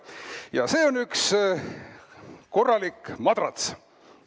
Ja see on üks korralik madrats.